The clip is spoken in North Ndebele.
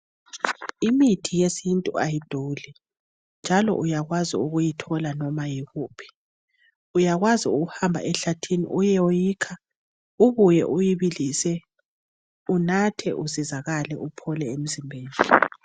Imithi yesintu ayiduli njalo uyenelisa ukuyithola noma ngaphi uyenelisa ukuhamba egangeni uyeyikha ubuye uyibilise unathe uncedakale uphole.